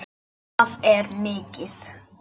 Það er mikið.